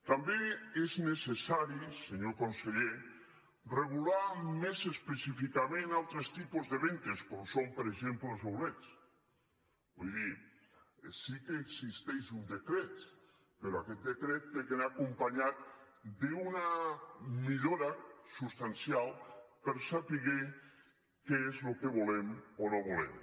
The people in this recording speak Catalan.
també és necessari senyor conseller regular més específicament altres tipus de vendes com són per exemple els outletscret però aquest decret ha d’anar acompanyat d’una millora substancial per saber què és lo que volem o no volem